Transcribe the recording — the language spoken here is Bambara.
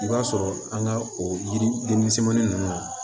I b'a sɔrɔ an ka o yiri misɛminɛn ninnu